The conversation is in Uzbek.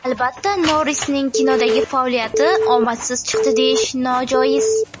Albatta, Norrisning kinodagi faoliyati omadsiz chiqdi deyish, nojoiz.